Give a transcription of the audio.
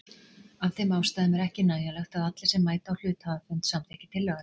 Af þeim ástæðum er ekki nægjanlegt að allir sem mæta á hluthafafund samþykki tillöguna.